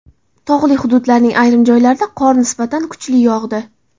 Tog‘li hududlarning ayrim joylarida qor nisbatan kuchli yog‘di.